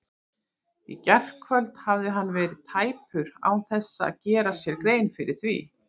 Í gærkvöld hafði hann verið tæpur án þess að gera sér grein fyrir því.